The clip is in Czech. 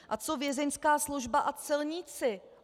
A co vězeňská služba a celníci?